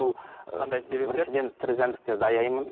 бұл қандай себеп біріншіден тірі жәндіктерді аяймын